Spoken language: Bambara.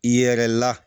Yɛrɛ la